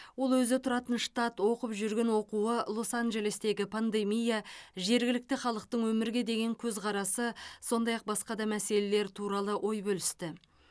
ол өзі тұратын штат оқып жүрген оқуы лос анджелестегі пандемия жергілікті халықтың өмірге деген көзқарасы сондай ақ басқа да мәселелер туралы ой бөлісті